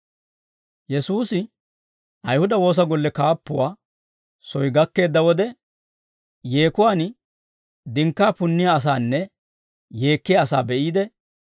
Yesuusi Ayihuda Woosa Golle kaappuwaa soy gakkeedda wode, yeekuwaan dinkkaa punniyaa asaanne yeekkiyaa asaa be'iide,